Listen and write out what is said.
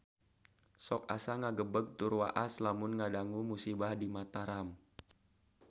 Sok asa ngagebeg tur waas lamun ngadangu musibah di Mataram